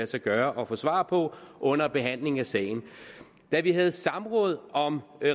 sig gøre at få svar på under behandling af sagen da vi havde samråd om